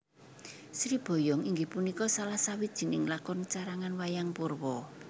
Sri Boyong inggih punika salah sawijining lakon carangan Wayang Purwa